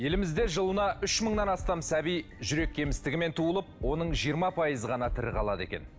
елімізде жылына үш мыңнан астам сәби жүрек кемістігімен туылып оның жиырма пайызы ғана тірі қалады екен